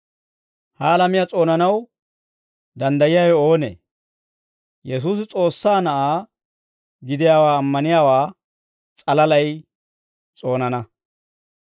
Ha alamiyaa s'oonanaw danddayiyaawe oonee? Yesuusi S'oossaa Na'aa gidiyaawaa ammaniyaawaa s'alalay s'oonana.